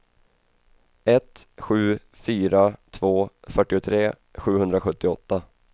ett sju fyra två fyrtiotre sjuhundrasjuttioåtta